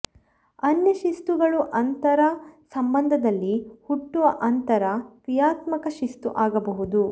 ಅನ್ಯ ಶಿಸ್ತುಗಳು ಅಂತರ್ ಸಂಬಂಧದಲ್ಲಿ ಹುಟ್ಟುವ ಅಂತರ್ ಕ್ರಿಯಾತ್ಮಕ ಶಿಸ್ತು ಆಗಬಹುದು